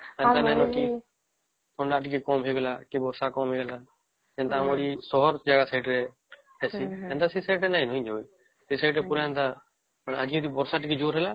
ଥଣ୍ଡା ଟିକେ କାମ ହେଇଗଲା କି ବର୍ଷା ଟିକେ କାମ ହେଇଗଲା ଏନ୍ତା ଆମର ସହର ଜାଗା ସାଇଡ ରେ ହେସି ହେନ୍ତା ସେ ସାଇଡ ରେ ନାଇଁ ନ ସେ ସାଇଡ ରେ ପୁରା ହେନ୍ତା ବର୍ଷା ଟିକେ ଜୋର ରେ ହେଲା